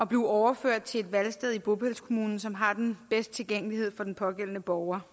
blive overført til et valgsted i bopælskommunen som har den bedste tilgængelighed for den pågældende borger